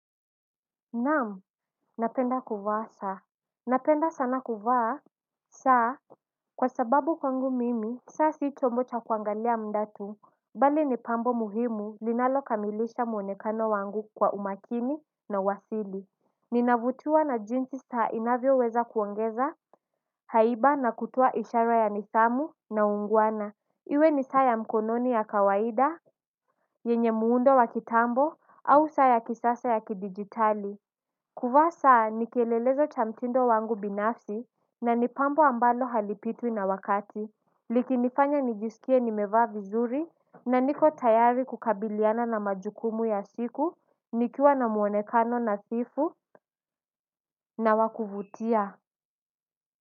Naam, napenda kuvaa saa napenda sana kuvaa saa. Kwa sababu kwangu mimi, saa si chombo cha kuangalia muda tu, bali ni pambo muhimu linalo kamilisha mwonekano wangu kwa umakini na uasili. Ninavutiwa na jinsi saa inavyo weza kuongeza haiba na kutoa ishara ya nidhamu na ungwana iwe ni saa ya mkononi ya kawaida, yenye muundo wa kitambo, au saa ya kisasa ya kidigitali kuvaa saa ni kielelezo cha mtindo wangu binafsi na ni pambo ambalo halipitwi na wakati likinifanya nijisikie nimevaa vizuri na niko tayari kukabiliana na majukumu ya siku nikiwa na mwonekano na sifu na wa kuvutia.